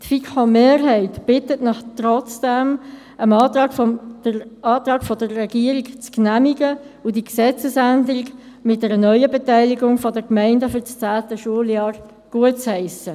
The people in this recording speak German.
Die FiKo-Mehrheit bittet Sie trotzdem, den Antrag der Regierung zu genehmigen und die Gesetzesänderung mit einer neuen Beteiligung der Gemeinden für das zehnte Schuljahr gutzuheissen.